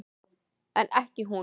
En ekki hún.